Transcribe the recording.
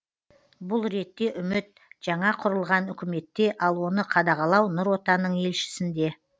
бұл ретте үміт жаңа құрылған үкіметте ал оны қадағалау нұр отанның елшісінде